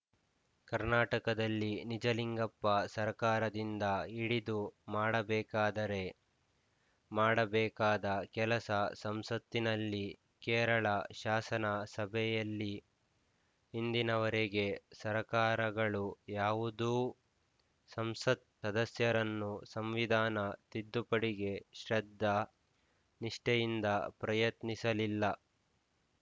ಕರ್ನಾಟಕದಲ್ಲಿ ನಿಜಲಿಂಗಪ್ಪ ಸರಕಾರದಿಂದ ಹಿಡಿದು ಮಾಡಬೇಕಾದರೆ ಮಾಡಬೇಕಾದ ಕೆಲಸ ಸಂಸತ್ತಿನಲ್ಲಿ ಕೇರಳ ಶಾಸನ ಸಭೆಯಲ್ಲಿ ಇಂದಿನವರೆಗೆ ಸರಕಾರಗಳು ಯಾವುದೂ ಸಂಸತ್ ಸದಸ್ಯರನ್ನು ಸಂವಿಧಾನ ತಿದ್ದುಪಡೆಗೆ ಶ್ರದ್ದಾ ನಿಷ್ಠೆಯಿಂದ ಪ್ರಯತ್ನಿಸಲಿಲ್ಲ